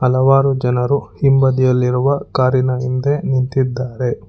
ಹಲವಾರು ಜನರು ಹಿಂಬದಿಯಲ್ಲಿರುವ ಕಾರಿನ ಹಿಂದೆ ನಿಂತಿದ್ದಾರೆ.